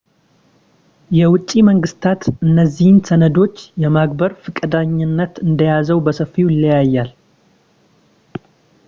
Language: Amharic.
የውጭ መንግስታት እነዚህን ሰነዶች የማክበር ፈቃደኝነት እንደዚያው በሰፊው ይለያያል